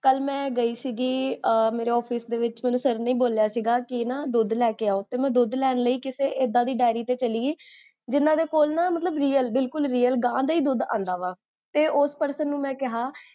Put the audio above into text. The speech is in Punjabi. ਕਲ ਮੈਂ ਗਈ ਸੀ, ਮੇਰੇ office ਦੇ ਵਿੱਚ, ਮੇਨੂ sir ਨੇ ਬੋਲਿਆ ਸੀ, ਕੀ ਨਾ ਦੁਧ ਲੈ ਕੇ ਆਓ, ਤੇ ਮੈਂ ਦੁਧ ਲੈਣ ਲਈ, ਕਿਸੇ ਏਦਾਂ ਦੀ diary ਤੇ ਚਲੀ ਗਈ, ਜਿੰਨਾ ਦੇ ਕੋਲ ਨਾ real, ਬਿਲਕੁਲ real ਗਾਂ ਦਾ ਹੀ ਦੁਧ ਆਂਦਾ ਵਾ, ਤੇ ਓਸ person ਨੂੰ ਮੈ ਕੇਹਾ